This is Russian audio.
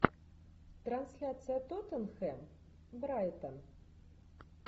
трансляция тоттенхэм брайтон